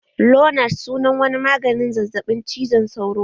Lonart sunan wani maganin zazzaɓin cizon sauro ne